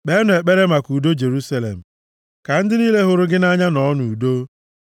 Kpeenụ ekpere maka udo Jerusalem: “Ka ndị niile hụrụ gị nʼanya nọọ nʼudo.